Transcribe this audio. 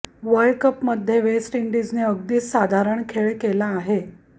वर्ल्डकपमध्ये west इंडीजने अगदीच साधारण खेळ केला आहे